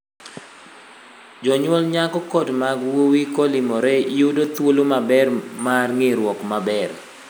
Jonyuol nyako kod mag wuoyi kolimore yudo thuolo maber mar ng'eruok maber.